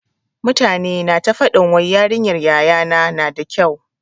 Mutane na ta faɗin wai yarinyar yaya na na da kyau.